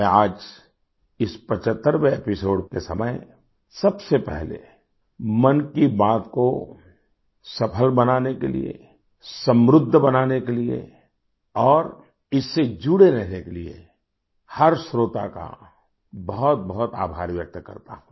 मैं आज इस 75वें एपिसोड के समय सबसे पहले मन की बात को सफल बनाने के लिए समृद्ध बनाने के लिए और इससे जुड़े रहने के लिए हर श्रोता का बहुतबहुत आभार व्यक्त करता हूँ